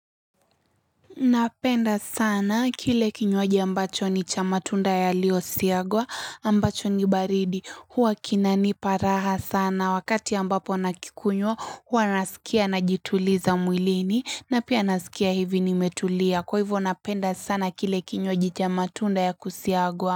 Napenda sana kile kinywaji ambacho ni cha matunda yaliyosiagwa ambacho ni baridi huwa kinanipa raha sana wakati ambapo nakikunywa huwa nasikia najituliza mwilini na pia nasikia hivi nimetulia kwa hivyo napenda sana kile kinywaji cha matunda ya kusiagwa.